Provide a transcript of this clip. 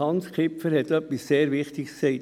– Hans Kipfer hat etwas sehr Wichtiges gesagt: